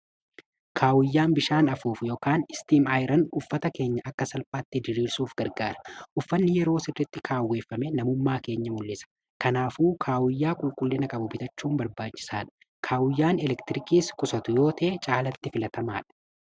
Kaawuyyaan bishaan afuufu yookaan istiim ayiran uffata keenya akka salphaatti jiriirsuuf gargaara. Uffanni yeroo sirritti kaawweeffame namummaa keenya mul'isa. kanaafuu kaawuyyaa qulqullina qabu bitachuun barbaanchisaa dha. Kaawuyyaan elektiriikiis kusatu yoo ta'ee caalatti filatamaa dha.